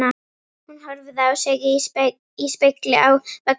Hún horfði á sig í spegli á veggnum.